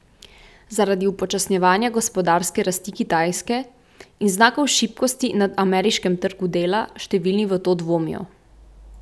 Zaradi upočasnjevanja gospodarske rasti Kitajske in znakov šibkosti na ameriškem trgu dela številni v to dvomijo.